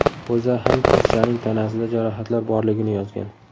O‘zA ham qizchaning tanasida jarohatlar borligini yozgan.